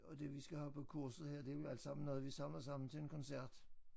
Og det vi skal have på kurset her det jo alt sammen noget vi samler sammen til en koncert